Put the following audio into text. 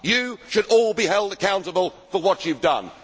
You should all be held accountable for what you have done.